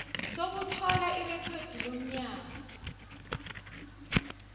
sokuthola irekhodi lomnyango